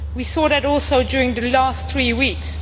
We saw that also during the last three weeks.